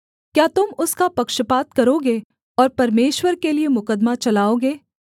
क्या तुम उसका पक्षपात करोगे और परमेश्वर के लिये मुकद्दमा चलाओगे